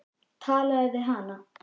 Talaðu við hana.